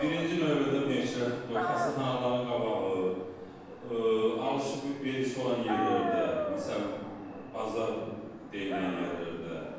Birinci növbədə neçə xəstəxanaların qabağı, alış-verişi olan yerlərdə, məsələn, bazar deyilən yerlərdə.